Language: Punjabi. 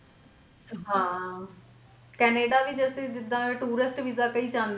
ਹਾਂ ਕੈਨੇਡਾ ਵੀ ਜਦੋਂ ਤੁਸੀਂ ਜਿੱਦਾਂ tourist ਵੀਸਾ ਕਈ ਜਾਂਦੇ ਨੇ